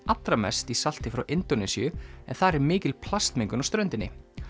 allra mest í salti frá Indónesíu en þar er mikil plastmengun á ströndinni